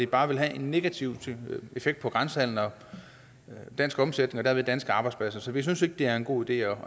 bare vil have en negativ effekt på dansk omsætning og derved danske arbejdspladser så vi synes ikke det er en god idé